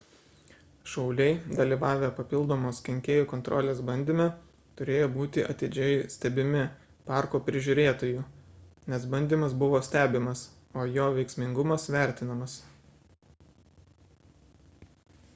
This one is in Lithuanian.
šauliai dalyvavę papildomos kenkėjų kontrolės bandyme turėjo būti atidžiai stebimi parko prižiūrėtojų nes bandymas buvo stebimas o jo veiksmingumas vertinamas